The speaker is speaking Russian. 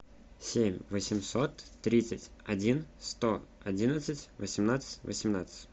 семь восемьсот тридцать один сто одиннадцать восемнадцать восемнадцать